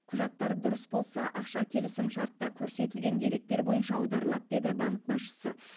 құжаттар дұрыс болса ақша келісімшартта көрсетілген деректер бойынша аударылады деді банк басшысы